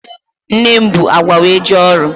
Nne m bu agwa wee jee ọrụ.